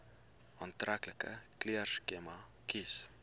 aantreklike kleurskema kies